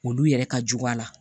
Olu yɛrɛ ka jugu a la